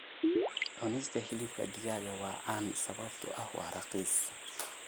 Cunista hilibka digaaga waa caan sababtoo ah waa raqiis